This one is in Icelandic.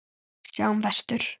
Sjáum vestur.